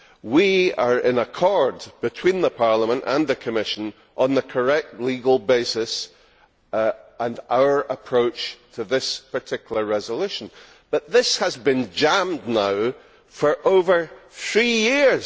We are in accord between Parliament and the Commission on the correct legal basis and our approach to this particular resolution, but this has been jammed now for over three years.